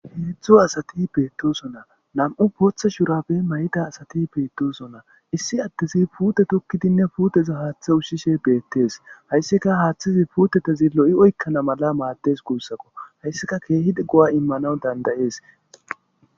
Hezu asati beettoso na na'mu botha shurapbe mayta asati beettosona issi attizi pute tokkidinne puuteza haaththe ushshishe beettees hayssika haaththizi puutetezi lo'i oykkana mala maaddes guussako hayssika keehi go'a immanaw dandayees